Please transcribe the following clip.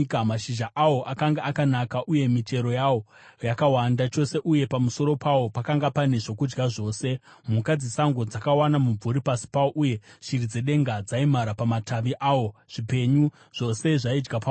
Mashizha awo akanga akanaka, uye michero yawo yakawanda chose, uye pamusoro pawo pakanga pane zvokudya zvazvose. Mhuka dzesango dzakawana mumvuri pasi pawo, uye shiri dzedenga dzaimhara pamatavi awo; zvipenyu zvose zvaidya pauri.